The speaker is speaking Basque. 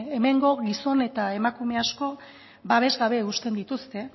hemengo gizon eta emakume asko babes gabe uzten dituzte